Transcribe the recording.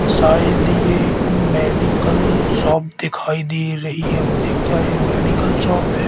शायद ये एक मेडिकल शॉप दिखाई दे रही है मुझे क्या ये मेडिकल शॉप है?